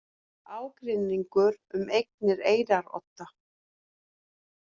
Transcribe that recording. Ágreiningur um eignir Eyrarodda